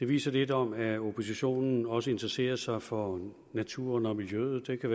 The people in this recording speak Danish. vise lidt om at oppositionen også interesserer sig for naturen og miljøet det kan